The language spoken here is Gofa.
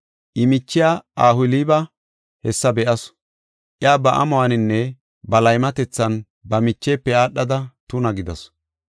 “I michiya Ohooliba hessa be7asu; iya ba amuwaninne ba laymatethan ba michefe aadhada tuna gidasu.